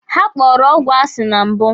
Ha kpọrọ ọgwụ asi na mbụ.